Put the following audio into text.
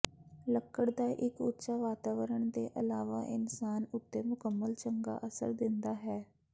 ਲੱਕੜ ਦਾ ਇੱਕ ਉੱਚ ਵਾਤਾਵਰਣ ਦੇ ਇਲਾਵਾ ਇਨਸਾਨ ਉੱਤੇ ਮੁਕੰਮਲ ਚੰਗਾ ਅਸਰ ਦਿੰਦਾ ਹੈ ਹੈ